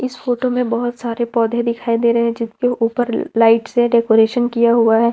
इस फोटो में बहुत सारे पौधे दिखाई दे रहे हैं जिनके ऊपर लाइट से डेकोरेशन किया हुआ है।